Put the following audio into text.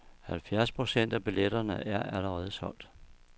Halvfjerds procent af billetterne er allerede solgt.